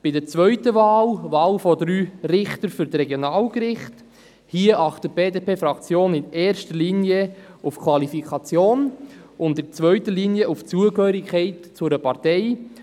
Bei der zweiten Wahl, der Wahl von drei Richtern für die Regionalgerichte, achtet die BDP-Fraktion in erster Linie auf die Qualifikation und in zweiter Linie auf die Zugehörigkeit zu einer Partei.